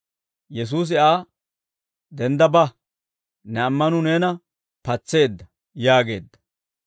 Yesuusi Aa, «Dendda ba; ne ammanuu neena patseedda» yaageedda.